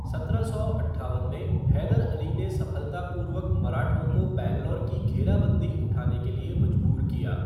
सत्रह सौ अट्ठावन में हैदर अली ने सफलतापूर्वक मराठों को बैंगलोर की घेराबंदी उठाने के लिए मजबूर किया।